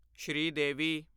Sridevi